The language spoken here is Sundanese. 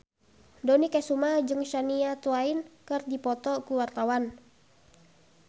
Dony Kesuma jeung Shania Twain keur dipoto ku wartawan